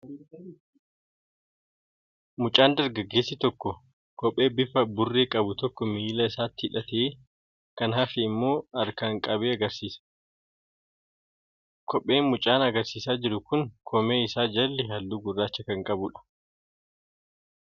Mucaa dargaggeessi tokko qophee bifa burree qabu tokko miila isaatti hidhatee kan hafe immoo harkaan qabee agarsiisaa jira. Kopheen mucaan agarsiisaa jiru kun koomee isaa jalli halluu gurraacha kan qabudha.